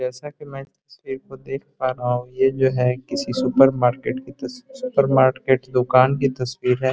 जैसा कि मैं इस तस्वीर को देख पा रहा हूँ ये जो है किसी सुपरमार्केट की तस्वीर सुपरमार्केट दुकान की तस्वीर है।